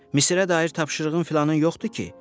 Misirə dair tapşırığın filanın yoxdur ki?